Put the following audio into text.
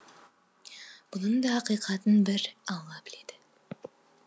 бұның да ақиқатын бір алла біледі